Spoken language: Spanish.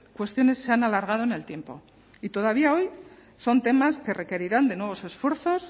cuestiones se han alargado en el tiempo y todavía hoy son temas que requerirán de nuevos esfuerzos